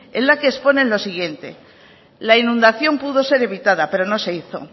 en la que exponen lo siguiente la inundación pudo ser evitada pero no se hizo